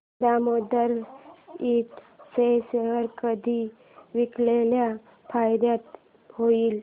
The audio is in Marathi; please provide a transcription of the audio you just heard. दामोदर इंड चे शेअर कधी विकल्यास फायदा होईल